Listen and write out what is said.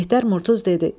Mehdər Murtuz dedi: